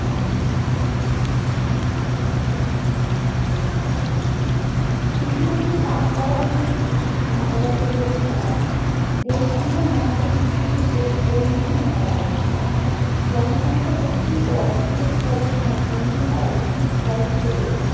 শিশুদের দিয়ে কাজ করানো একটি মানবতা বিরোধী কাজ। দেশ কিংবা মহাদেশ নির্বিশেষে এর পরিণতি ভয়াবহ। জনসংখ্যা বৃদ্ধি ও অর্থনৈতিক অবস্থার দিন দিন অবনতির ফল হিসেবে